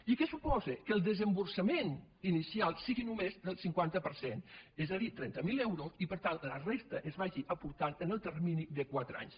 i què suposa que el desem·borsament inicial sigui només del cinquanta per cent és a dir trenta mil euros i per tant la resta es vagi aportant en el termini de quatre anys